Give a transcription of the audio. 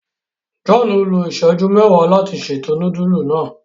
John lo iṣẹju mẹwàá láti ṣètò nudulu náa.